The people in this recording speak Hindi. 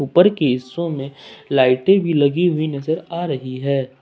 ऊपर की हिस्सों में लाइटे भी लगी हुई नजर आ रही है ।